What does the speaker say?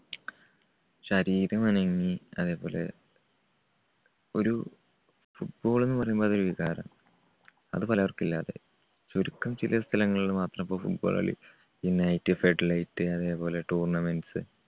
ശരീരം അനങ്ങി അതേപോലെ ഒരു football ന്നുപറയുമ്പോ ഒരു വികാരം അത് പലർക്കും ഇല്ലാതായി. ചുരുക്കം ചില സ്ഥലങ്ങളിൽ മാത്രം ഇപ്പോ football കളി അതേപോലെ tournaments